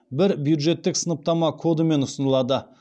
бір бюджеттік сыныптама кодымен ұсынылады